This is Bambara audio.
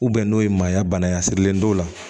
n'o ye manɲa bana ye a sirilen don